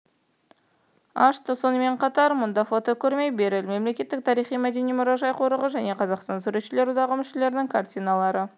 ашты сонымен қатар мұнда фотокөрме берель мемлекеттік тарихи-мәдени мұражай-қорығы мен қазақстан суретшілер одағы мүшелерінің картиналары